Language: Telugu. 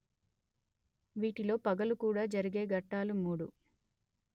వీటిలో పగలు కూడ జరిగే ఘట్టాలు మూడు